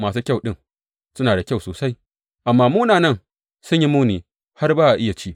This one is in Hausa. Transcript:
Masu kyau ɗin suna da kyau sosai, amma munanan sun yi muni har ba a iya ci.